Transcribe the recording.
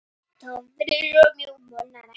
Torfið var mjúkt og molnaði ekki.